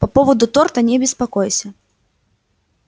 по поводу торта не беспокойся